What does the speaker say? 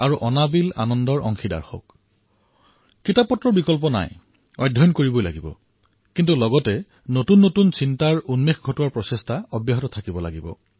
কিতাপ অবিহনে কোনো বিকল্প নাই অধ্যয়নতো কৰিবই লাগিব কিন্তু নতুন নতুন বস্তু সন্ধান কৰাৰ প্ৰবৃত্তি থাকিব লাগে